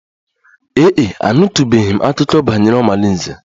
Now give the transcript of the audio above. Ee e, anụtụbeghị m akụkọ banyere omalinze